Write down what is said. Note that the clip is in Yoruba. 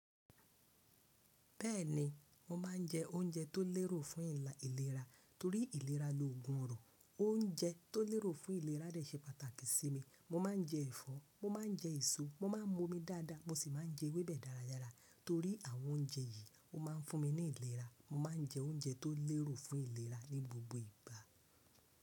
Bẹ́ẹ̀ni, mo ma ń jẹ́ oúnjẹ tó lérò fún ìlera torí ìlera loògùn ọrùn. Oúnjẹ tó lérò fún ìlera rẹ̀ ṣe pàtàkì sí mi. Mo ma ń jẹ́ ẹ̀fọ́, mo ma ń jẹ́ èso, mo ma ń mu omi dáadáa mo sì má ń jẹ́ ewébẹ̀ dáradára torí àwọn oúnjẹ yìí ó má ń fún mi ní ìlera. Mo ma ń jẹ́ oúnjẹ tó lérò fún ìlera ní gbogbo ìgbà.